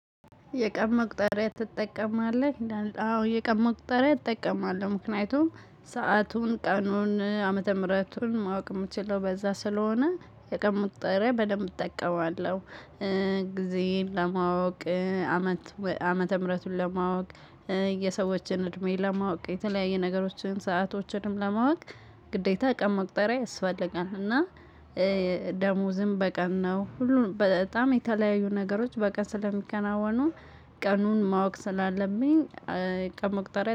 የቀን መቁጠሪያ ትጠቀማለህ? አዎ የቀን መቁጠሪያ እጠቀማለሁ ምክንያቱም ሰአቱን ቀኑን ዓመተ ምህረቱን ማወቅ የምችለው በዛ ስለሆነ የቀን መቁጠሪያ በደንብ እጠቀማለሁ። ጊዜን ለማወቅ አመት ዓመተ ምህረቱን ለማወቅ የሰዎችን እድሜን ለማወቅ የተለያየ ነገሮችን ሰአቶችንም ለማወቅ። ግዴታ ቀን መቅጠሪያ አስፈልጋለሁ። እና ደሞዝም በቀን ነው። ሁሉን በጣም የተለያዩ ነገሮች በቀን ስለሚከናወኑ ቀኑን ማወቅ ስላለብኝ ቀን መቁጠሪያ